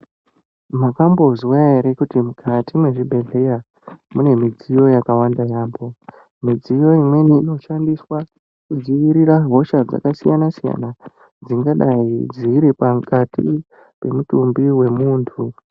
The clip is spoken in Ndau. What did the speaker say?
Makambozwa ere kuti mukati mqezvibhedhleya mune midziyo yakawanda yaambo mudziyo imweni inoshandiswa kudzivirira hosha dzakasiyana siyana dzingadai dziri pakati pemutumbi wemuntu.